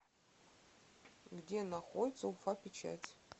где находится уфа печать